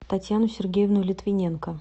татьяну сергеевну литвиненко